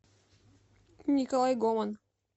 николай гоман